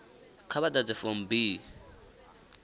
kha vha ḓadze form b